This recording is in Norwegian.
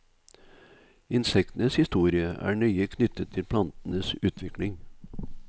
Insektenes historie er nøye knyttet til plantenes utvikling.